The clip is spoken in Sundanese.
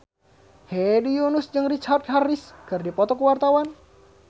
Hedi Yunus jeung Richard Harris keur dipoto ku wartawan